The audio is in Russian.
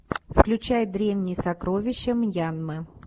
включай древние сокровища мьянмы